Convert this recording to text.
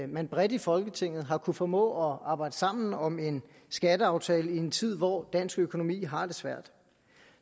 man bredt i folketinget har kunnet formå at arbejde sammen om en skatteaftale i en tid hvor dansk økonomi har det svært